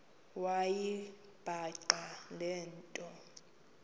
wayibhaqa le nto